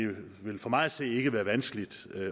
vil for mig at se ikke være vanskeligt